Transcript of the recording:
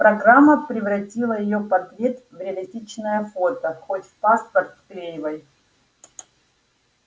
программа превратила её портрет в реалистичное фото хоть в паспорт вклеивай